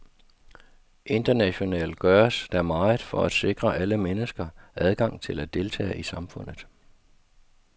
Internationalt gøres der meget for at sikre alle mennesker adgang til at deltage i samfundet.